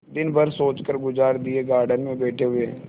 दिन भर सोचकर गुजार दिएगार्डन में बैठे हुए